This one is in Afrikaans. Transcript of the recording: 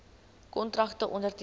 kontrakte onderteken